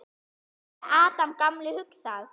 Hvað hefði Adam gamli hugsað?